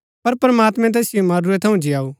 पर प्रमात्मैं तैसिओ मरूरै थऊँ जीयाऊ